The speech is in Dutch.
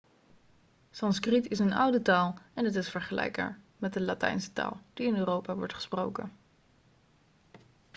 sanskriet is een oude taal en is vergelijkbaar met de latijnse taal die in europa wordt gesproken